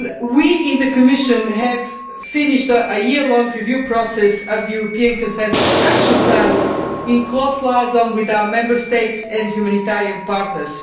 We in the Commission have completed a year long review process of the European consensus action plan, in close liaison with our Member State and humanitarian partners.